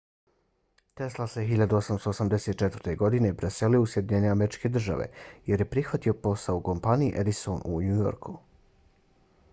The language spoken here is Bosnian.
tesla se 1884. godine preselio u sjedinjene američke države jer je prihvatio posao u kompaniji edison u new yorku